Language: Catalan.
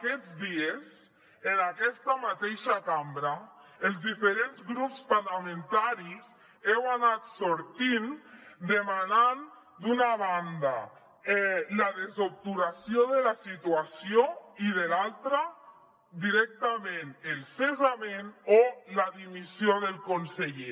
aquests dies en aquesta mateixa cambra els diferents grups parlamentaris heu anat sortint demanant d’una banda la desobturació de la situació i de l’altra directament el cessament o la dimissió del conseller